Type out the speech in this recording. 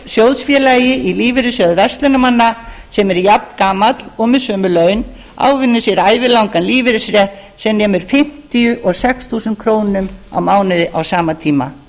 sjóðsfélagi í lífeyrissjóði verslunarmanna sem er jafngamall og með sömu laun ávinnur sér ævilangan lífeyrisrétt sem nemur fimmtíu og sex þúsund krónur á mánuði á sama tíma